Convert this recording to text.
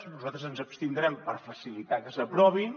nosaltres ens abstindrem per facilitar que s’aprovin